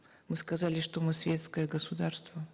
мы сказали что мы светское государство